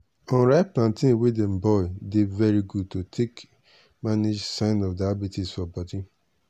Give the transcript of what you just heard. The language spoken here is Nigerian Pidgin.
unripe plantain wey dem boil dey very good to take dey manage sign of diabetes for bodi.